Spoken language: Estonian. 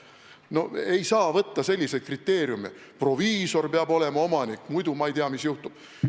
No ei saa ette kirjutada selliseid kriteeriume, et proviisor peab olema omanik, muidu ei tea, mis juhtub.